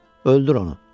Öldür onu.